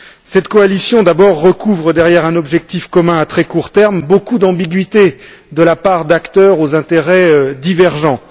Cette coalition d'abord recouvre, derrière un objectif commun à très court terme, beaucoup d'ambiguïté de la part d'acteurs aux intérêts divergents.